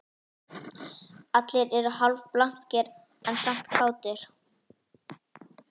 Allir eru hálfblankir en samt kátir